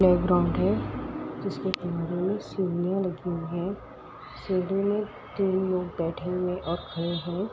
Play ground है। जिसमे किनारे में सीढ़ियां लगी हुई है। सीढ़ी में तीन लोग बैठे हुए और खड़े हैं ।